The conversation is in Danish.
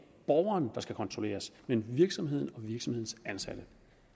borgeren der skal kontrolleres men virksomheden og virksomhedens ansatte